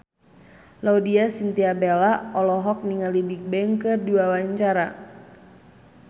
Laudya Chintya Bella olohok ningali Bigbang keur diwawancara